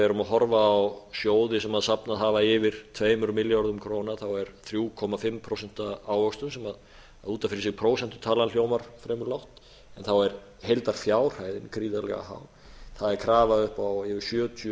erum að horfa á sjóði sem safnað hafa yfir tveimur milljörðum króna er þrjú og hálft prósent ávöxtun sem út af fyrir sig prósentutalan hljómar fremur lág þá er heildarfjárhæðin gríðarlega há það er krafa upp á yfir sjötíu